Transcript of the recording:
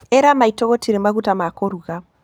ĩra maitũ gũtirĩ maguta ma kũruga.